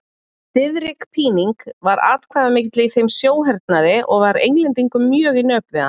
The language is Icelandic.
Diðrik Píning var atkvæðamikill í þeim sjóhernaði og var Englendingum mjög í nöp við hann.